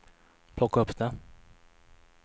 plocka upp det